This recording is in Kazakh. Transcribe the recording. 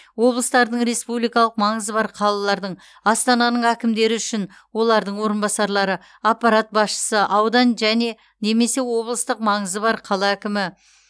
облыстардың республикалық маңызы бар қалалардың астананың әкімдері үшін олардың орынбасарлары аппарат басшысы аудан және немесе облыстық маңызы бар қала әкімі